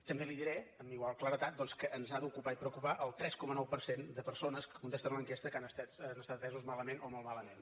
també li diré amb igual claredat doncs que ens ha d’ocupar i preocupar el tres coma nou per cent de persones que contesten a l’enquesta que han estat atesos malament o molt malament